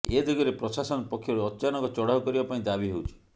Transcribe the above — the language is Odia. ଏ ଦିଗରେ ପ୍ରଶାସନ ପକ୍ଷରୁ ଅଚାନକ ଚଢ଼ାଉ କରିବା ପାଇଁ ଦାବି ହେଉଛି